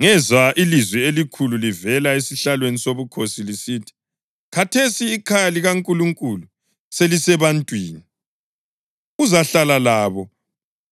Ngezwa ilizwi elikhulu livela esihlalweni sobukhosi lisithi, “Khathesi ikhaya likaNkulunkulu selisebantwini, uzahlala labo.